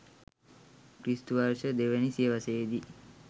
ක්‍රි.ව. 02 වැනි සියවසේ දී